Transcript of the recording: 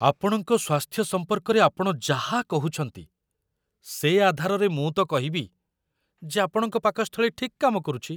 ଆପଣଙ୍କ ସ୍ୱାସ୍ଥ୍ୟ ସମ୍ପର୍କରେ ଆପଣ ଯାହା କହୁଛନ୍ତି, ସେ ଆଧାରରେ ମୁଁ ତ କହିବି ଯେ ଆପଣଙ୍କ ପାକସ୍ଥଳୀ ଠିକ୍ କାମ କରୁଛି।